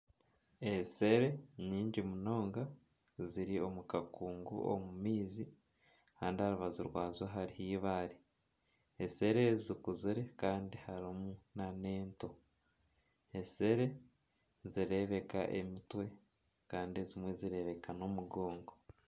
Enshere nyingi munonga ziri omu kakungu omu maizi kandi aha rubaju rwazo hariho eibare. Enshere ezo zikuzire kandi harimu nana ento. Enshere nizireebeka emitwe kandi ezimwe zireebeka n'omugongo.